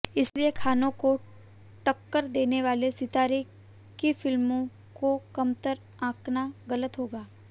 इसलिए खानों को टक्कर देने वाले सितारे की फिल्मों को कमतर आंकना गलत होगा